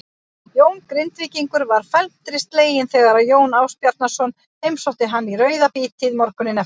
Jón Grindvíkingur varð felmtri sleginn þegar Jón Ásbjarnarson heimsótti hann í rauðabítið morguninn eftir.